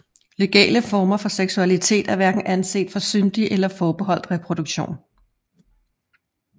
Legale former for seksualitet er hverken anset for syndige eller forbeholdt reproduktion